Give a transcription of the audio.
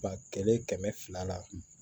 Ba kelen kɛmɛ fila la